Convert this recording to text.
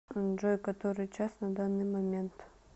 джой который час на данный момент